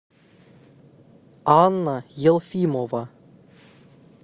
анна елфимова